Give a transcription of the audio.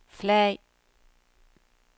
flag